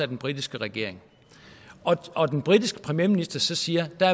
den britiske regering og den britiske premierminister så siger at der